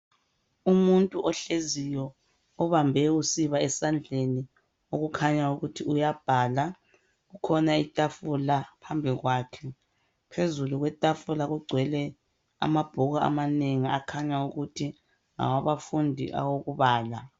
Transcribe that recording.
Umuntu ohleziyo obambe usiba esandleni okukhanya ukuthi uyabhala. Kukhona itafula phambili kwakhe. Phezulu kwetafula kugcwele amabhuku amanengi akhanya ukuthi ngawabafundi awokubala.